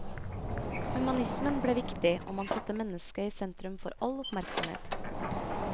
Humanismen ble viktig, og man satte mennesket i sentrum for all oppmerksomhet.